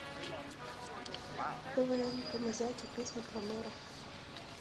квн камызяки песня про мэра